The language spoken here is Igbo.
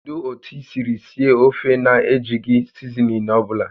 Kedu otu i siri sie ofe a na-ejighị sizinin ọ bụla?